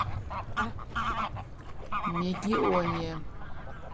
мегионе